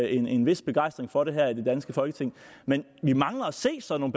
en vis begejstring for det her i det danske folketing men vi mangler at se sådan